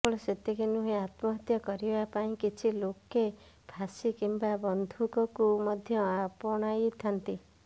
କେବଳ ସେତିକି ନୁହେଁ ଆତ୍ମହତ୍ୟା କରିବା ପାଇଁ କିଛି ଲୋକେ ଫାଶୀ କିମ୍ବା ବନ୍ଧୁକକୁ ମଧ୍ୟ ଆପଣାଇଥାନ୍ତି